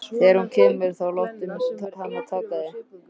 Þegar hún kemur þá láttu hana taka þig.